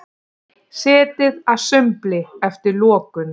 Setið að sumbli eftir lokun